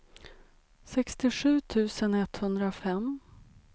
sextiosju tusen etthundrafem